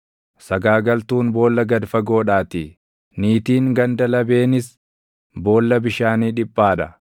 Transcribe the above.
sagaagaltuun boolla gad fagoodhaatii, niitiin ganda labeenis boolla bishaanii dhiphaa dha.